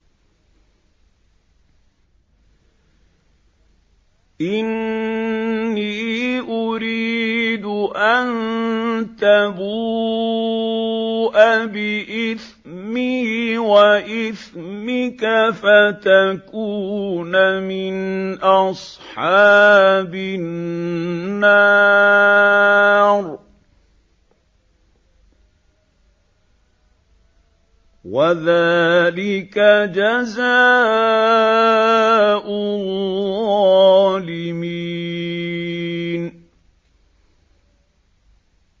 إِنِّي أُرِيدُ أَن تَبُوءَ بِإِثْمِي وَإِثْمِكَ فَتَكُونَ مِنْ أَصْحَابِ النَّارِ ۚ وَذَٰلِكَ جَزَاءُ الظَّالِمِينَ